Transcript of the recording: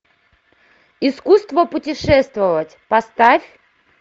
искусство путешествовать поставь